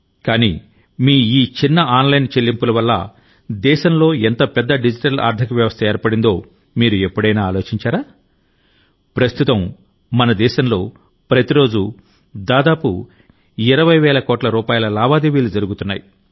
కానీమీ ఈ చిన్న ఆన్లైన్ చెల్లింపుల వల్ల దేశంలో ఎంత పెద్ద డిజిటల్ ఆర్థిక వ్యవస్థ ఏర్పడిందో మీరు ఎప్పుడైనా ఆలోచించారా ప్రస్తుతం మన దేశంలో ప్రతిరోజూ దాదాపు 20 వేల కోట్ల రూపాయల లావాదేవీలు జరుగుతున్నాయి